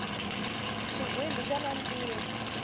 xigwimbhi xa nandziha